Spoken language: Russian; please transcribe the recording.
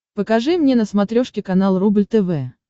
покажи мне на смотрешке канал рубль тв